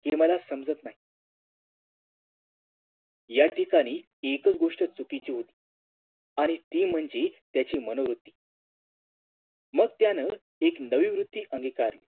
ते मला समाजात नाही या ठिकाणी एकच गोष्ट चुकीची होते आणि ती म्हणजे त्याची मनोवृत्ती मग त्यानं एक नवी वृत्ती अंगिकारली